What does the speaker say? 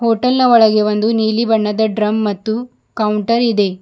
Hotel ನ ಒಳಗೆ ಒಂದು ನೀಲಿ ಬಣ್ಣದ ಡ್ರಮ್ ಮತ್ತು ಕೌಂಟರ್ ಇದೆ.